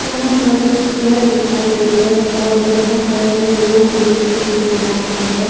यहाँ पर कुछ घर दिखाई दे रहें हैं और यहाँ पर रोड भीं दिखाई दे रहा हैं।